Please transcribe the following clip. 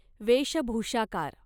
वेशभुषाकार